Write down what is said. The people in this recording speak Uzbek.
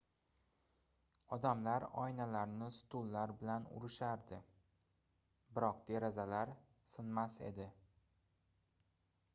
odamlar oynalarni stullar bilan urishardi biroq derazalar sinmas edi